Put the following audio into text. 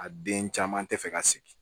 A den caman tɛ fɛ ka sigi